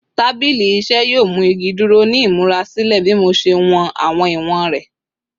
Tabili iṣẹ yoo mu igi duro ni imurasilẹ bi mo ṣe wọn awọn iwọn rẹ